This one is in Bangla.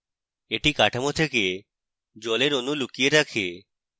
এটি কাঠামো থেকে জলের অণু লুকিয়ে রাখে